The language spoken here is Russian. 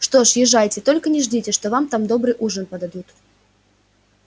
что ж езжайте только не ждите что вам там добрый ужин подадут